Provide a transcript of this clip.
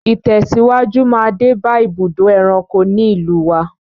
Ìtẹ̀síwájú máa dé bá ibùdó ẹranko ní ìlúu wa.